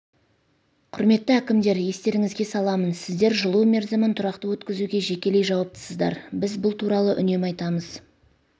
құрметті әкімдер естеріңізге саламын сіздер жылу мерзімін тұрақты өткізуге жекелей жауаптысыздар біз бұл туралы үнемі айтамыз